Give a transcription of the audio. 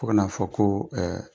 Fo kana fɔ ko